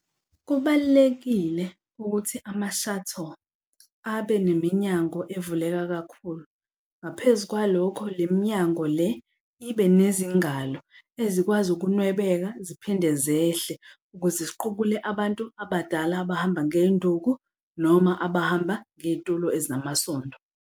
Kubalulekile ukuthi ama-shuttle abe neminyango evuleka kakhulu. Ngaphezu kwalokho, le minyango le ibe nezingalo ezikwazi ukunwebeka ziphinde zehle ukuze ziqubule abantu abadala abahamba ngey'nduku noma abahamba ngey'tulo ezinamasondo.